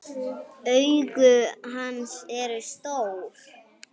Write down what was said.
Augu hans eru stór.